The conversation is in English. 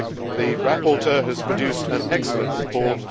The rapporteur has produced an excellent report.